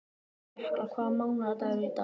Jökla, hvaða mánaðardagur er í dag?